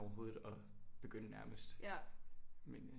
Overhovedet at begynde nærmest men øh